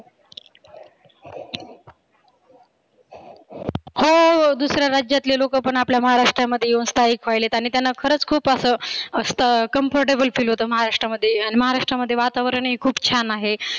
हो दुसऱ्या राज्यातले लोक पण आपल्या महाराष्ट्रामध्ये येऊन स्थाइक व्हायलेत आणि त्यांना बरच खुप असं comfortable feel होतं महाराष्ट्रामध्ये. अन महाराष्ट्रामध्ये वातावरणही खुप छान आहे.